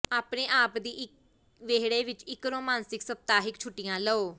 ਆਪਣੇ ਆਪ ਦੀ ਵਿਹੜੇ ਵਿਚ ਇਕ ਰੋਮਾਂਸਿਕ ਸਪਤਾਹਿਕ ਛੁੱਟੀਆਂ ਲਓ